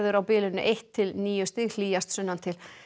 á bilinu eitt til níu stig hlýjast sunnantil